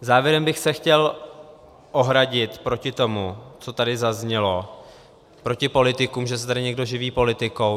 Závěrem bych se chtěl ohradit proti tomu, co tady zaznělo proti politikům, že se tady někdo živí politikou.